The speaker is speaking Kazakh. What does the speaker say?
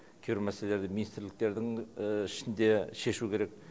кейбір мәселелерді министрліктердің ішінде шешу керек